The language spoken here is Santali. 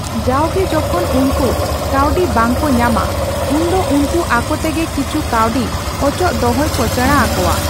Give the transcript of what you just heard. ᱡᱟᱣᱜᱮ ᱡᱚᱠᱷᱚᱱ ᱩᱱᱠᱩ ᱠᱟᱣᱰᱤ ᱵᱟᱝᱠᱚ ᱧᱟᱢᱟ ᱩᱱᱫᱚ ᱩᱱᱠᱩ ᱟᱠᱳᱛᱮᱜᱮ ᱠᱤᱪᱦᱩ ᱠᱟᱣᱰᱤ ᱚᱪᱚᱜ ᱫᱚᱦᱚᱭ ᱠᱚ ᱥᱮᱲᱟ ᱟᱠᱳᱣᱟ ᱾